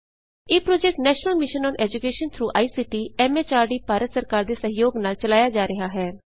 ਇਹ project national mission on education through ICT MHRD Bharat ਸਰਕਾਰ ਦੇ ਸਹਿਯੋਗ ਨਾਲ ਚਲਾਇਆ ਜਾ ਰਿਹਾ ਹੈ